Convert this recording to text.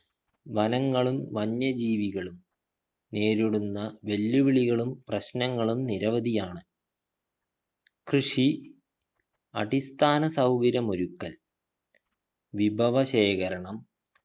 വനങ്ങളും വന്യജീവികളും നേരിടുന്ന വെല്ലുവിളികളും പ്രശ്നങ്ങളും നിരവധിയാണ് കൃഷി അടിസ്ഥാന സൗകര്യം ഒരുക്കൽ വിഭവ ശേഖരണം